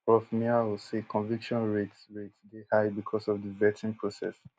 prof miao say conviction rates rates dey high becos of di vetting process